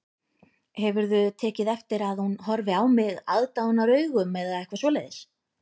Hefurðu tekið eftir að hún horfi á mig aðdáunaraugum eða eitthvað svoleiðis